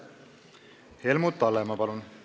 Helmut Hallemaa, palun!